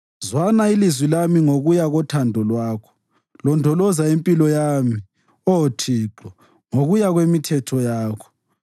Zwana ilizwi lami ngokuya kothando lwakho; londoloza impilo yami, Oh Thixo ngokuya kwemithetho yakho.